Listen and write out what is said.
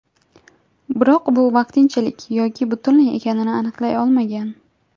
Biroq bu vaqtinchalik yoki butunlay ekanini aniqlay olmagan.